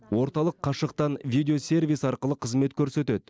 орталық қашықтан видеосервис арқылы қызмет көрсетеді